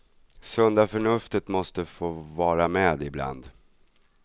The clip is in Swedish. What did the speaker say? Sunda förnuftet måste få vara med ibland.